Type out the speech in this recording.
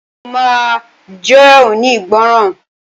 Mo ma jónígbọràn.